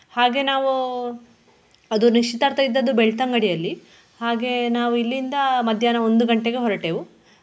ಹಾಗೆ ನಾವು ಅದು ನಿಶ್ಚಿತಾರ್ಥ ಇದ್ದದ್ದು ಬೆಳ್ತಂಗಡಿಯಲ್ಲಿ ಹಾಗೆ ನಾವು ಇಲ್ಲಿಂದ ಮಧ್ಯಾನ ಒಂದು ಗಂಟೆಗೆ ಹೊರಟೆವು.